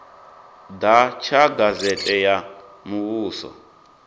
ḓa tsha gazete ya muvhuso